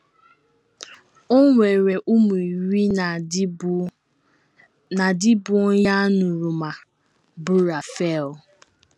O nwere ụmụ iri na di bụ́ na di bụ́ onye aṅụrụma, bụ́ Rafael.